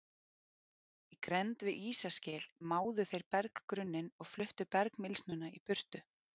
Í grennd við ísaskil máðu þeir berggrunninn og fluttu bergmylsnuna í burtu.